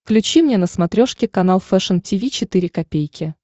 включи мне на смотрешке канал фэшн ти ви четыре ка